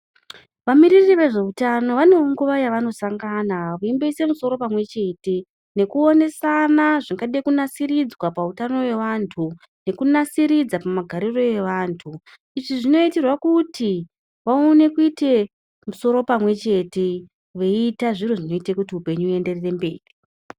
Va miriri vezve utano vanewo nguva yavano sangana veimbo ise musoro pamwe chete neku onesana zvingade ku nasiridzwa pa utano we vantu neku nasiridza pama gariro evantu izvi zvino itirwa kuti vaone kuite musoro pamwe chete vei ita zviro zvinoita kuti upenyu hu enderere mberi.